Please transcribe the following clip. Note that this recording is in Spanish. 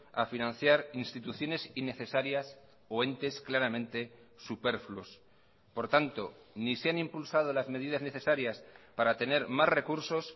a financiar instituciones innecesarias o entes claramente superfluos por tanto ni se han impulsado las medidas necesarias para tener más recursos